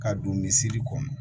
Ka don misi kɔnɔ